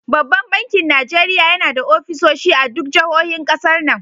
Banban bakin Najeriya yana da offisoshi a duk jahohin ƙasar nan.